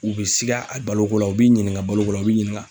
U bɛ siga a baloko la , u b'i ɲininka baloko la, u bɛ ɲininka.